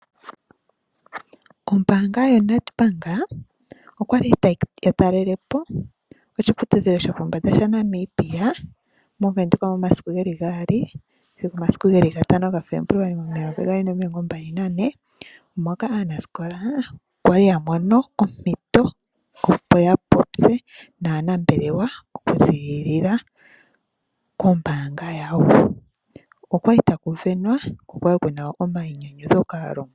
Ombanga yaNetbank okwali ya talelepo oshiputudhilo shopo mbanda sha Namibia moWindhoek momasiku gaali nomasiku gatano ga febuluali momayovi gaali nomilongo mbali nane moka aanasikola kwali ya mono ompito opo ya popye naanambelewa okuzilila kombanga yawo. Okwali taku venwa ko okwali kuna omayinyanyudho.